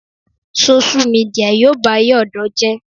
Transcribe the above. Sóṣú midià yóò bayé ọ̀dọ́ jẹ́